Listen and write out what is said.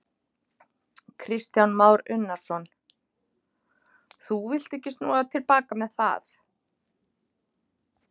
Kristján Már Unnarsson: Þú villt ekki snúa til baka með það?